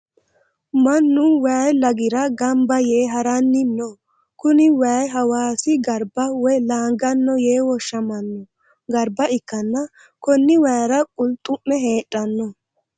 Mannu waayi lagira gamba yee haranni no. Kuni waayi hawaassi garba woy laanganno yee woshshamanno garba ikkanna konni waayira qulxu'me heedhanno.